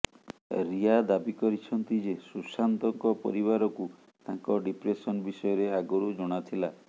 ରିୟା ଦାବି କରିଛନ୍ତି ଯେ ସୁଶାନ୍ତଙ୍କ ପରିବାରକୁ ତାଙ୍କ ଡିପ୍ରେସନ ବିଷୟରେ ଆଗରୁ ଜଣା ଥିଲା